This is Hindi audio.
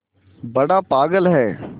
बड़ा पागल है